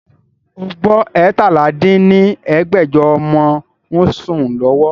O gbọ́ eétalá dín ní ẹgbẹ́jọ ọmọ ń sún lọ́wọ́?